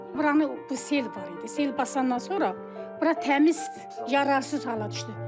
Buranı bu sel var idi, sel basandan sonra bura təmiz yararsız hala düşdü.